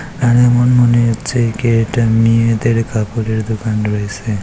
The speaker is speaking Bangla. এখানে আমার মনে হচ্ছে একে এটা মেয়েদের কাপড়ের দোকান রয়েছে।